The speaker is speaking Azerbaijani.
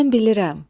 Mən bilirəm.